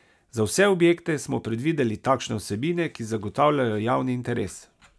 Za vse objekte smo predvideli takšne vsebine, ki zagotavljajo javni interes.